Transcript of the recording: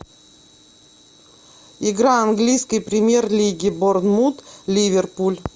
игра английской премьер лиги борнмут ливерпуль